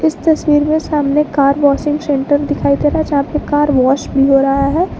इस तस्वीर में सामने कार वॉशिंग सेंटर दिखाई दे रहा है यहां पे कार वॉश भी हो रहा है।